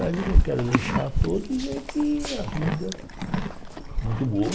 A mensagem que eu quero deixar a todos é que a vida é muito boa.